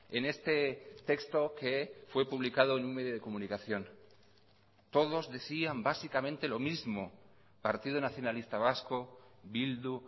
en este texto que fue publicado en un medio de comunicación todos decían básicamente lo mismo partido nacionalista vasco bildu